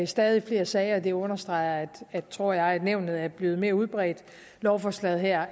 stadig flere sager det understreger tror jeg nævnet er blevet mere udbredt lovforslaget her